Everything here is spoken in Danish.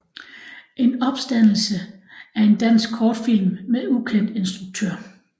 En Opstandelse er en dansk kortfilm med ukendt instruktør